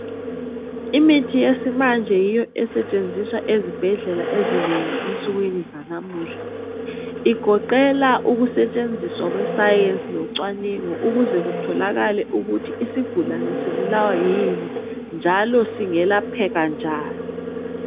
Imithi yesimanje yiyo esetshenziswa ezibhedlela ezinengi ensukwini zanamuhla. Igoqela ukusetshenziswa kwesayensi locwaningo ukuze kutholakale ukuthi isigulane sibulawa yini njalo singelapheka njani.